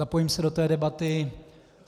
Zapojím se do té debaty.